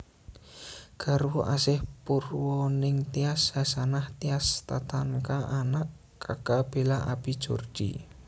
Garwa Asih Purwaningtyas Hasanah Tias Tatanka Anak Kaka Bela Abi Jordi